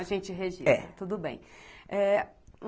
A gente registra, é, tudo bem. É